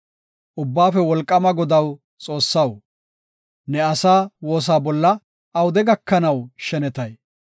Ubbaafe Wolqaama Godaw Xoossaw, ne asaa woosa bolla awude gakanaw shenetay?